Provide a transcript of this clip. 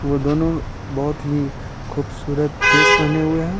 वो दोनों बहुत ही खूबसूरत ड्रेस पहने हुए हैं।